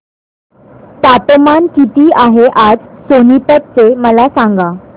तापमान किती आहे आज सोनीपत चे मला सांगा